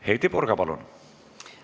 Heidy Purga, palun!